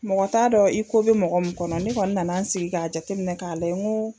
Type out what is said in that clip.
Mɔgɔ t'a dɔn i ko bɛ mɔgɔ min kɔnɔ, ne kɔni nana n sigi k'a jateminɛ k'a lajɛ n ko